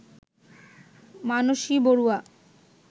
Manasi Barua